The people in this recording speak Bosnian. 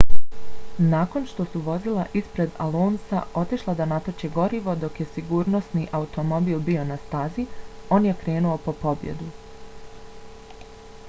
nakon što su vozila ispred alonsa otišla da natoče gorivo dok je sigurnosni automobil bio na stazi on je krenuo po pobjedu